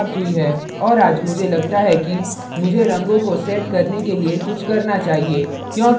और आज मुझे लगता है कि मुझे रंगों को set करने के लिए कुछ करना चाहिए